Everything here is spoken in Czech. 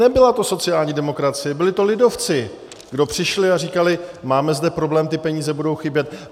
Nebyla to sociální demokracie, byli to lidovci, kdo přišli a říkali: máme zde problém, ty peníze budou chybět.